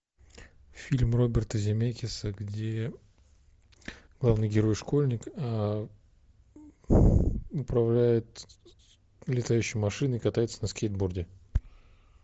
фильм роберта земекиса где главный герой школьник управляет летающей машиной и катается на скейтборде